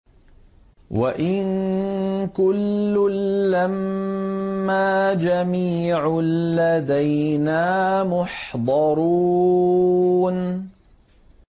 وَإِن كُلٌّ لَّمَّا جَمِيعٌ لَّدَيْنَا مُحْضَرُونَ